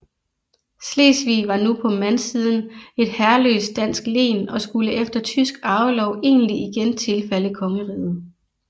Slesvig var nu på mandsiden et herreløst dansk len og skulle efter tysk arvelov egentlig igen tilfalde kongeriget